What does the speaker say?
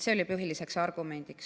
See oli põhiline argument.